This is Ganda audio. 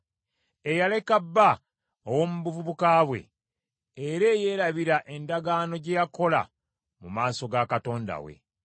eyaleka bba ow’omu buvubuka bwe era eyeerabira endagaano gye yakola mu maaso ga Katonda we.